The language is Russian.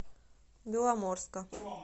беломорска